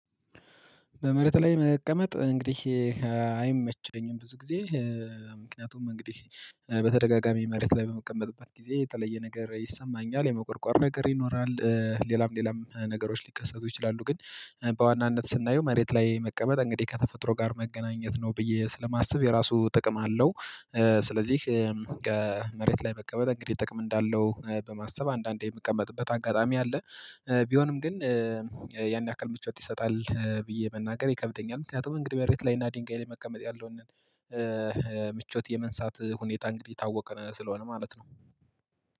በመሬት ላይ መቀመጥ እንግዲህ አይመቸኝም ብዙ ጊዜ ምክንያቱም እንግዲህ በተደጋጋሚ መሬት ላይ በመቀመጥባት ጊዜ የተለየ ነገር ይሰማኛል የመቆርቆር ነገር ይኖራል። ሌላም ሌላም ነገሮች ሊከሰቱ ይችላሉ። ግን በዋናነት ስናየው መሬት ላይ መቀመጥ እንግዲህ ከተፈጥሮ ጋር መገናኘት ነው ብዬ ስለማስብ የራሱ ጥቅም አለው። ስለዚህ ከመሬት ላይ መቀመጥ እንግዲህ ጥቅም እንዳለው በማሰብ አንዳንዴ የምቀመጥበት አጋጣሚ አለ። ቢሆንም ግን ያን ያክል ምቾት ይሰጣል ብዬ መናገር ይከብደኛል። ምክንያቱም እንግዲህ መሬት ላይና ድንጋይ ላይ መቀመጥ ያለውን ምቾት የመንሳት ሁኔታ እንግዲህ የታወቀ ስለሆነ ማለት ነው